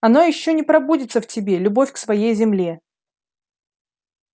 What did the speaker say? оно ещё пробудится в тебе любовь к своей земле